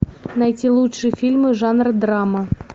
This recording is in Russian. найти лучшие фильмы жанра драма